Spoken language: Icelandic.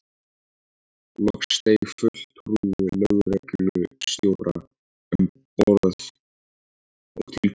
Loks steig fulltrúi lögreglustjóra um borð og tilkynnti